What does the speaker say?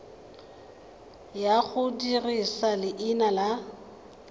ya go dirisa leina la